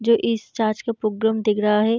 जो इस चर्च का प्रोग्राम देख रहा है।